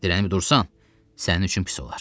Dirənib dursan, sənin üçün pis olar.